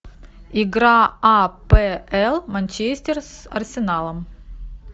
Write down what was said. игра апл манчестер с арсеналом